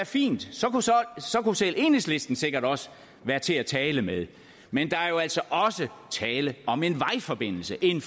fint så kunne selv enhedslisten sikkert også være til at tale med men der er jo altså også tale om en vejforbindelse en